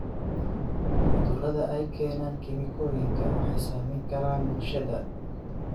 Cudurada ay keenaan kiimikooyinka waxay saameyn karaan bulshada.